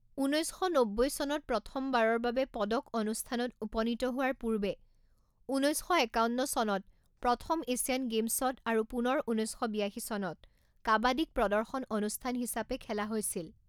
ঊনৈছ শ নব্বৈ চনত প্ৰথমবাৰৰ বাবে পদক অনুষ্ঠানত উপনীত হোৱাৰ পূৰ্বে ঊনৈছ শ একাৱন্ন চনত প্ৰথম এছিয়ান গেমছত আৰু পুনৰ ঊনৈছ শ বিয়াশী চনত কাবাডীক প্ৰদৰ্শন অনুষ্ঠান হিচাপে খেলা হৈছিল।